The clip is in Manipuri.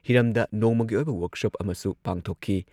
ꯍꯤꯔꯝꯗ ꯅꯣꯡꯃꯒꯤ ꯑꯣꯏꯕ ꯋꯔꯛꯁꯣꯞ ꯑꯃꯁꯨ ꯄꯥꯡꯊꯣꯛꯈꯤ ꯫